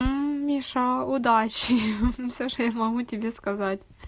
миша удачи всё что я могу тебе сказать